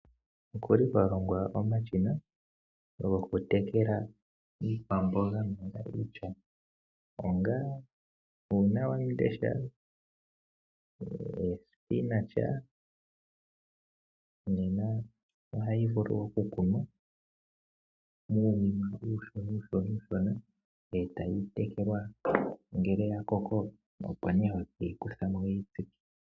Okuli kwa longwa omashina goku tekela iikwamboga mbyoka iishona. Ongaashi nee uunawandesha nomboga. Nena ohayi vulu oku kunwa muunima uushona etayi tekelwa. Ngele ya koko opo nee hoyi kutha mo etokeyi tsika.